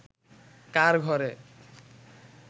কার ঘরে